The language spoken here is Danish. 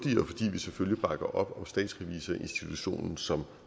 vi selvfølgelig bakker op om statsrevisorinstitutionen som